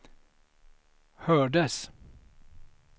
hördes